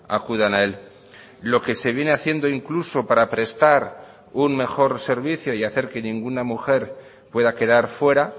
acudan a él lo que se viene haciendo incluso para prestar un mejor servicio y hacer que ninguna mujer pueda quedar fuera